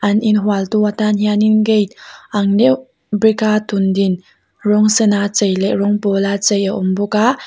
an in hual tu atan hianin gate ang deuh brick a tum din rawng sena chei leh rawng pawla chei a awm bawk a.